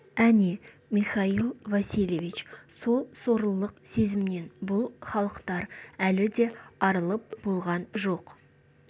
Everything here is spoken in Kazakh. әне михаил васильевич сол сорлылық сезімнен бұл халықтар әлі де арылып болған жоқ